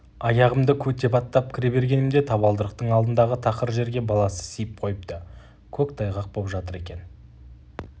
аяғымды көтеп аттап кіре бергенімде табалдырықтың алдындағы тақыр жерге баласы сиіп қойыпты көк тайғақ боп жатыр екен